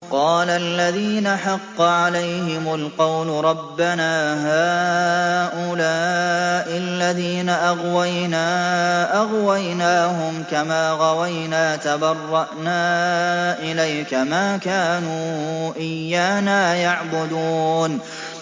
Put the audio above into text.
قَالَ الَّذِينَ حَقَّ عَلَيْهِمُ الْقَوْلُ رَبَّنَا هَٰؤُلَاءِ الَّذِينَ أَغْوَيْنَا أَغْوَيْنَاهُمْ كَمَا غَوَيْنَا ۖ تَبَرَّأْنَا إِلَيْكَ ۖ مَا كَانُوا إِيَّانَا يَعْبُدُونَ